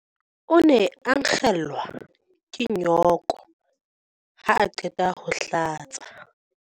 O ne a nkgelwa ke nyooko ha a qeta ho hlatsa.